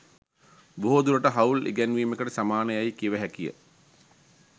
බොහෝ දුරට හවුල් ඉගැන්වීමකට සමාන යැයි කිව හැකි ය.